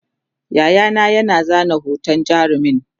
Yayana ya zana hoton jarumin